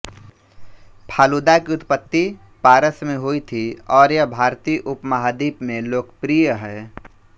फालूदा की उत्पत्ति पारस में हुई थी और यह भारतीय उपमहाद्वीप में लोकप्रिय है